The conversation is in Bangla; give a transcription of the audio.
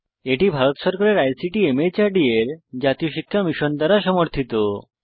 এটি ভারত সরকারের আইসিটি মাহর্দ এর জাতীয় শিক্ষা মিশন দ্বারা সমর্থিত